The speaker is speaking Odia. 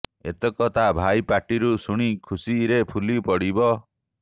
ଏତକ ତା ଭାଇ ପାଟି ରୁ ଶୁଣି ଖୁସି ରେ ଫୁଲି ପଡିବ